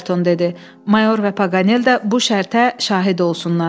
Mayor və Paqanel də bu şərtə şahid olsunlar.